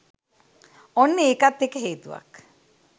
ඔන්න ඒකත් එක හේතුවක්